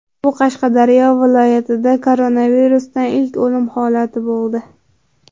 Bu Qashqadaryo viloyatida koronavirusdan ilk o‘lim holati bo‘ldi.